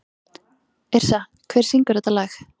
Yrsa, hver syngur þetta lag?